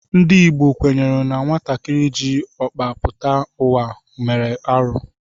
Ndị Igbo kwenyere na nwatakịrị jị ọkpa pụta ụwa mere arụ